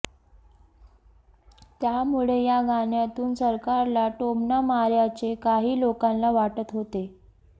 त्यामुळे या गाण्यातून सरकारला टोमणा मारल्याचे काही लोकांना वाटत होते